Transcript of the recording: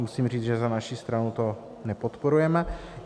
Musím říct, že za naši stranu to nepodporujeme.